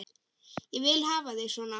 Ég vil hafa þig svona.